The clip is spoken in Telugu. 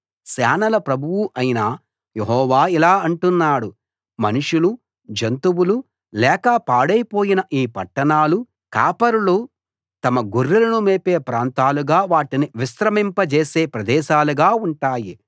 సేనల ప్రభువు అయిన యెహోవా ఇలా అంటున్నాడు మనుషులు జంతువులు లేక పాడైపోయిన ఈ పట్టణాలు కాపరులు తమ గొర్రెలను మేపే ప్రాంతాలుగా వాటిని విశ్రమింపజేసే ప్రదేశాలుగా ఉంటాయి